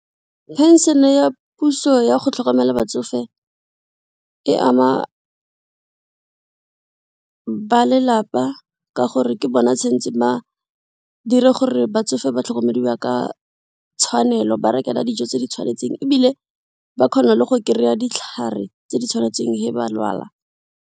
Pension ya puso ya go tlhokomela batsofe e ama balelapa ka gore ke bona tshwentse ba dire gore batsofe ba tlhokomelwa ka tshwanelo, ba rekelwa dijo tse di tshwanetseng ebile ba kgona le go kry-a ditlhare tse di tshwanetseng ge ba lwala.